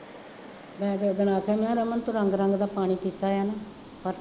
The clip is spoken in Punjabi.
ਮੈਂ ਮੈਂ ਕਿਹਾ ਰਮਨ ਤੂੰ ਰੰਗ ਰੰਗ ਦਾ ਪਾਣੀ ਪੀਤਾ ਹੋਇਆ ਹੈ ਨਾ ਪਰ